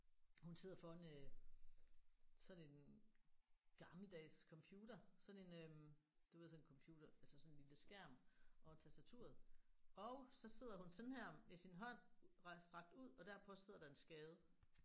Hun sidder foran øh sådan en gammeldags computer sådan en øh du ved sådan en computer altså sådan en lille skærm og tastaturet og så sidder hun sådan her med sin hånd ret strakt ud og derpå sidder der en skade